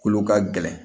Kolo ka gɛlɛn